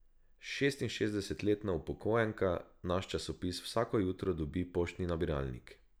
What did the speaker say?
Šestinšestdesetletna upokojenka naš časopis vsako jutro dobi v poštni nabiralnik.